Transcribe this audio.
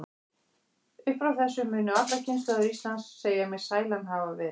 Upp frá þessu munu allar kynslóðir Íslands segja mig sælan hafa verið.